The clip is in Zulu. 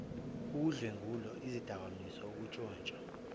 ukudlwengula izidakamizwa ukuntshontsha